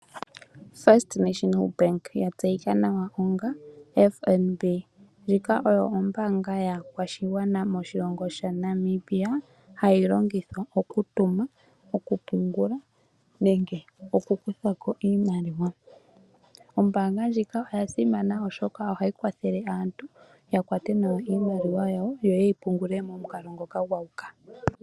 First National Bank ya tseyika nawa FNB. Ndjika oyo ombaanga yaakwashigwana moshilongo shaNamibia hayi longithwa okutuma, okupungula nenge okukutha ko iimaliwa. Ombaanga ndjika oya simana, oshoka ohayi kwathele aantu ya kwate nawa iimaliwa yawo yo yeyi pungule momukalo ngoka guuka.